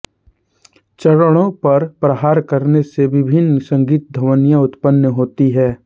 चरणों पर प्रहार करने से विभिन्न संगीत ध्वनियां उत्पन्न होती हैं